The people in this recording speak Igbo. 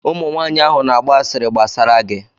ụmụ nwaanyị ahụ na agba asịrị gbasara gị